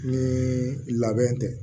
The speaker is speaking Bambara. Ni labɛn tɛ